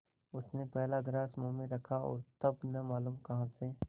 उसने पहला ग्रास मुँह में रखा और तब न मालूम कहाँ से